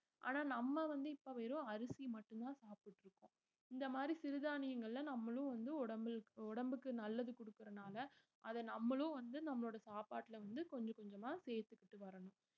ஆனா நம்ம வந்து இப்ப வெறும் அரிசி மட்டும்தான் சாப்பிட்டுட்டு இருக்கோம் இந்த மாதிரி சிறுதானியங்கள்ல நம்மளும் வந்து உடம்பில்~ உடம்புக்கு நல்லது குடுக்கறதுனால அத நம்மளும் வந்து நம்மளோட சாப்பாட்டுல வந்து கொஞ்சம் கொஞ்சமா சேர்த்துக்கிட்டு வரணும்